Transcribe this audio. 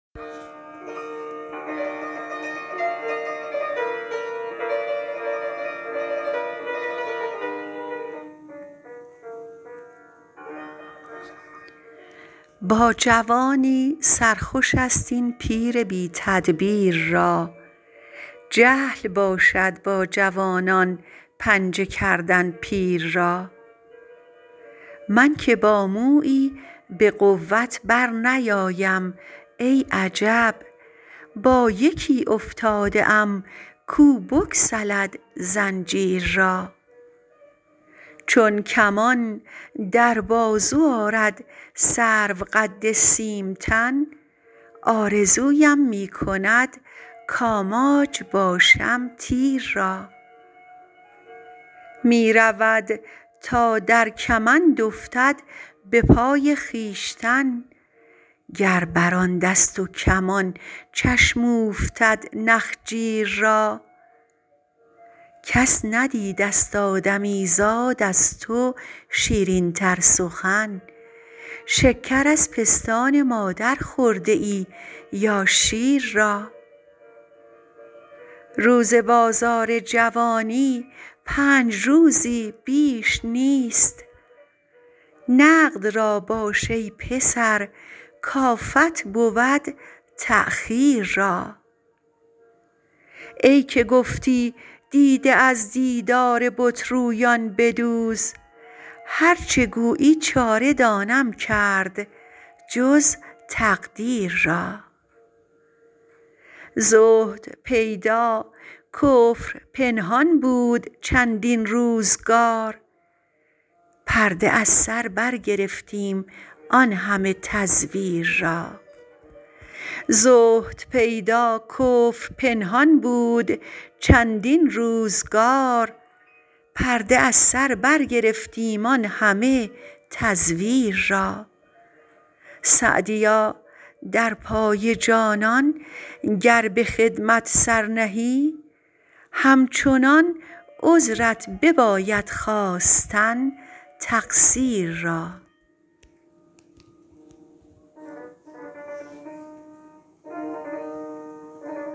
با جوانی سر خوش است این پیر بی تدبیر را جهل باشد با جوانان پنجه کردن پیر را من که با مویی به قوت برنیایم ای عجب با یکی افتاده ام کو بگسلد زنجیر را چون کمان در بازو آرد سروقد سیم تن آرزویم می کند کآماج باشم تیر را می رود تا در کمند افتد به پای خویشتن گر بر آن دست و کمان چشم اوفتد نخجیر را کس ندیدست آدمیزاد از تو شیرین تر سخن شکر از پستان مادر خورده ای یا شیر را روز بازار جوانی پنج روزی بیش نیست نقد را باش ای پسر کآفت بود تأخیر را ای که گفتی دیده از دیدار بت رویان بدوز هر چه گویی چاره دانم کرد جز تقدیر را زهد پیدا کفر پنهان بود چندین روزگار پرده از سر برگرفتیم آن همه تزویر را سعدیا در پای جانان گر به خدمت سر نهی همچنان عذرت بباید خواستن تقصیر را